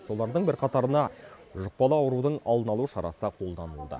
солардың бірқатарына жұқпалы аурудың алдын алу шарасы қолданылды